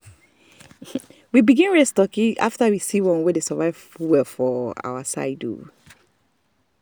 we begin raise turkey after we see one wey dey survive well for our side.